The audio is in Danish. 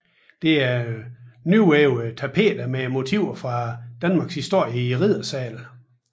Det er nyvævede tapeter med motiver fra Danmarks historie i riddersalen